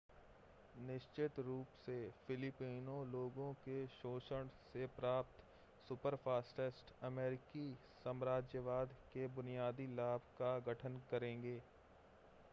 निश्चित रूप से फिलिपिनो लोगों के शोषण से प्राप्त सुपरफास्टिट्स अमेरिकी साम्राज्यवाद के बुनियादी लाभ का गठन करेंगे